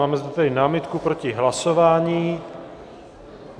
Máme zde tedy námitku proti hlasování.